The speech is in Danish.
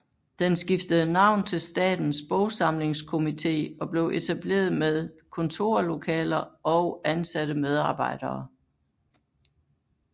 Den skiftede navn til Statens Bogsamlingskomité og blev etableret med kontorlokaler og ansatte medarbejdere